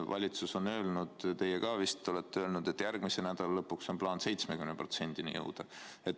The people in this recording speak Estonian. Valitsus on öelnud, teie ka vist olete öelnud, et järgmise nädala lõpuks on plaan 70%-ni jõuda.